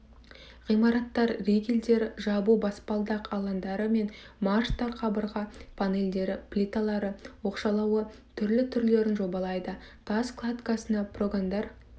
ғимараттар ригелдері жабу баспалдақ алаңдары мен марштар қабырға панелдері плиталары оқшаулауы түрлі түрлерін жобалайды тас кладкасына прогондар